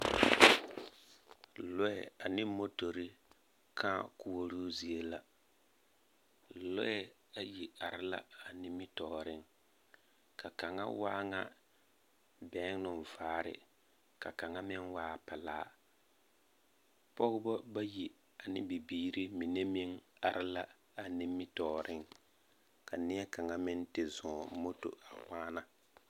Lͻԑ ane motori kãã koͻroo zie la. Lͻԑ ayi are la a nimitͻͻreŋ, ka kaŋa waa ŋa bԑgenoo vaare ka kaŋa meŋ waa pelaa. Pͻgebͻ bayi ane bibiiri mine meŋ are la a nimitͻͻreŋ ka neԑ kaŋa meŋ te zͻͻŋ moto a waana.